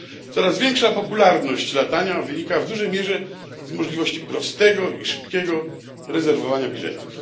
Coraz większa popularność latania wynika w dużej mierze z możliwości prostego i szybkiego rezerwowania biletów.